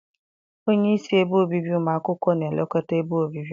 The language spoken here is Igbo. Onyeisi ebe obibi ụmụ akwụkwọ na-elekọta ebe obibi.